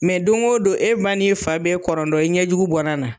don go don e ba ni fa be kɔrɔdɔn, e ɲɛjugu bɔ ne na.